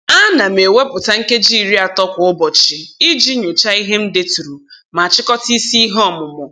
Ana m ewepụta nkeji iri ato kwa ụbọchị iji nyochaa ihe m deturu ma chịkọta isi ihe ọmụmụ.